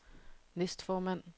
næstformand